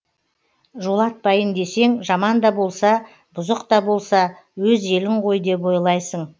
жолатпайын десең жаман да болса бұзық та болса өз елің ғой деп ойлайсың